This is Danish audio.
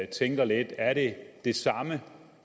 tænker lidt er det det samme